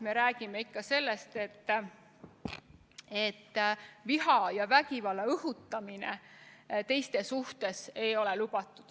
Me räägime ikkagi sellest, et viha ja vägivalla õhutamine teiste suhtes ei ole lubatud.